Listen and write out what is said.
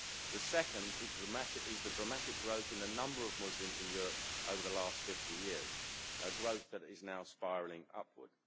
The second is the dramatic growth in the number of Muslims in Europe over the last 50 years, a growth that is now spiralling upward.